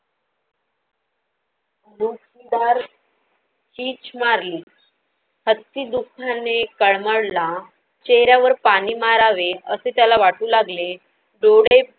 जोरदार चिच मारली. हत्ती दुखाने तडमडला, चेहऱ्यावर पाणी मारावे असे त्याला वाटू लागले. डोळे